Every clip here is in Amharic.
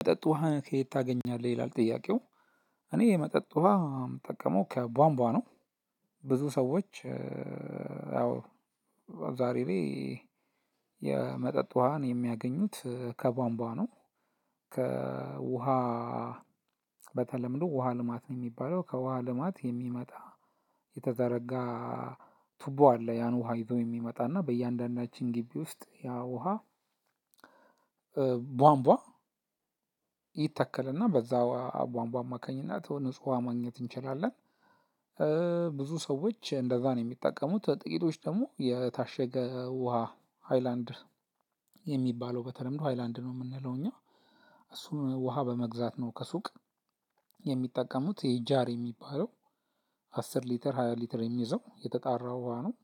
መጠጥ ውሃ ከየት ታገኛለህ ይላል ጥያቄው እኔ የመጠጥ ውሃ ምጠቀመው ከቧንቧ ነው። ብዙ ሰዎች ያው ዛሬ ላይ የመጠጥ ውሃን የሚያገኙት ከቧንቧ ነው። ከውሃ በተለምዶ ውሃ ልማት ነው የሚባለው ከውሃ ልማት የሚመጣ የተዘረጋ ቱቦ አለ ያን ውሃ ይዞ የሚመጣና በእያንዳንዳችን ግቢ ውስጥ ያ ውሃ ቧንቧ ይተከልና በዛ ውሃ ቧንቧ አማካኝነት ንጹሁ ማግኘት እንችላለን። ብዙ ሰዎች እንደዛ ነው የሚጠቀሙት። ጥቂቶች ደግሞ የታሸገ ውሃ ሃይላንድ የሚባለው በተለምዶ ሃይላንድ ነው የምንለው እኛ። እሱን ውሃ በመግዛት ነው ከሱቅ የሚጠቀሙት የጃር የሚባለው አስር ሊትር ሃያ ሊትር የሚይዘው የተጣራ ውሃ ነው።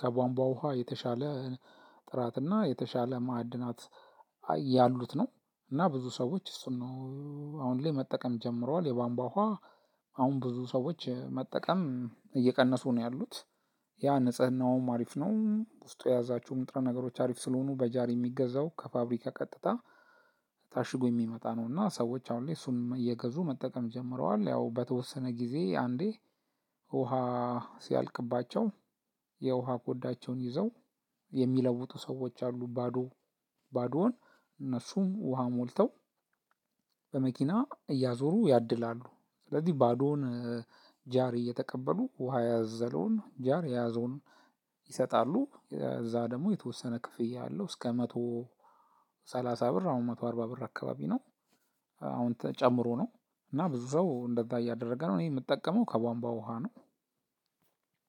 ከቧንቧ ውሃ የተሻለ ጥራትና የተሻለ ማዕድናት ያሉት ነው እና ብዙ ሰዎች እሱን ነው። አሁን ላይ መጠቀም ጀምረዋል የባንቧ ውሃ ብዙ ሰዎች መጠቀም እየቀነሱ ነው ያሉት። ያ ንጽህናውም አሪፍ ነው ውስጡ የያዛቸውም ንጥረ ነገሮች አሪፍ ስለሆኑ በጃር የሚገዛው ከፋብሪካ ቀጥታ ታሽጎ የሚመጣ ነው። እና ሰዎች አሁን ላይ እሱን እየገዙ መጠቀም ጀምረዋል ያው በተወሰነ ጊዜ አንዴ ውሃ ሲያልቅባቸው የውሃ ኮዳቸውን ይዘው የሚለውጡ ሰዎች አሉ። ባዶ ባዶውን እነሱን ውሃ ሞልተው በመኪና እያዞሩ ያድላሉ። ስለዚህ ባዶውን ጃር እየተቀበሉ ውሃ ያዘለውን ጃር የያዘውን ይሰጣሉ እዛ ደግሞ የተወሰነ ክፍያ አለው። እስከ መቶ ሰላሳ ብር አሁን መቶ አርባ ብር አካባቢ ነው። አሁን ጨምሮ ነው እና ብዙ ሰው እንደዛ እያደረገ ነው። እኔ የምጠቀመው ከቧንቧ ውሃ ነው።